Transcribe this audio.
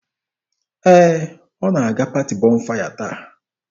Ee, ọ na-aga paati Bọnfaya taa.